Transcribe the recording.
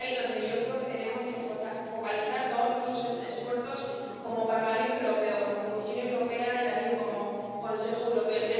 Y es ahí donde yo creo que tenemos que focalizar todos nuestros esfuerzos como Parlamento Europeo, como Comisión Europea y también como Consejo Europeo.